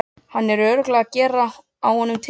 Hann er örugglega að gera á honum tilraunir!